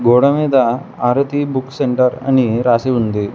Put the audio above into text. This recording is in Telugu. గోడమీద ఆరతి బుక్ సెంటర్ అని రాసి ఉంది.